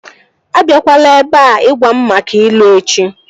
A biakwala ebea ịgwa m maka ilu echi!